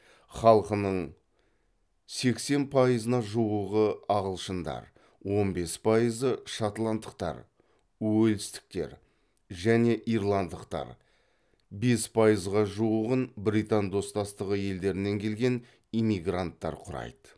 халқының сексен пайызына жуығы ағылшындар он бес пайызы шотландтықтар уэльстіктер және ирландықтар бес пайызға жуығын британ достастығы елдерінен келген иммигранттар құрайды